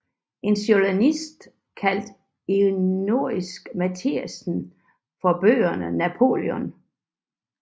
En journalist kaldte ironisk Mathiasen for bøgernes Napoleon